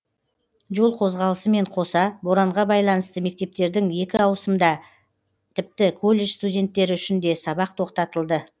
жол қозғалысымен қоса боранға байланысты мектептердің екі ауысымында тіпті колледж студенттері үшін де сабақ тоқтатылды